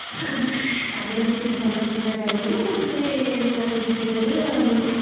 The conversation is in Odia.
ଆମେ ବେଶୀ ଭଲ ଗୀତ ଗାଇଲେ ନା ସେଥି ପାଇଁ ଆମେ ଜିତିଗଲେ ଆଉ